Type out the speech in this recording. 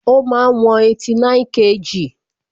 Ó máa ń wọn 89kg